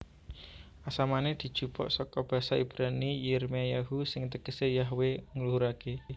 Asamané dijupuk saka basa Ibrani Yirmeyahu sing tegesé Yahwe ngluhuraké